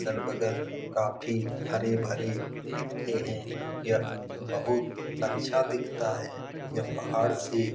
अगल-बगल काफी हरे-भरे दिखते है यह बहुत अच्छा दिखाता है यह पहाड़ से --